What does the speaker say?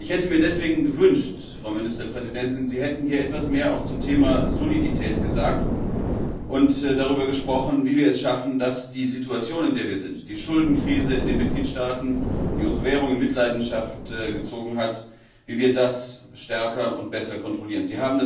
Ich hätte mir deswegen gewünscht, Frau Ministerpräsidentin, Sie hätten hier auch etwas mehr zum Thema Solidität gesagt und darüber gesprochen, wie wir es schaffen, die Situation, in der wir sind die Schuldenkrise in den Mitgliedstaaten, die unsere Währung in Mitleidenschaft gezogen hat stärker und besser zu kontrollieren.